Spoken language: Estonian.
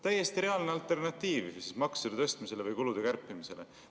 Täiesti reaalne alternatiiv maksude tõstmisele või kulude kärpimisele.